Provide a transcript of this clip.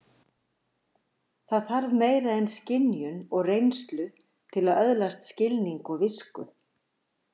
Það þarf meira en skynjun og reynslu til að öðlast skilning og visku.